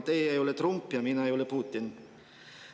Teie ei ole Trump ja mina ei ole Putin.